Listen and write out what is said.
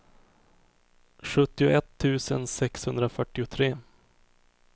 sjuttioett tusen sexhundrafyrtiotre